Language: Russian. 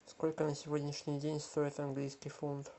сколько на сегодняшний день стоит английский фунт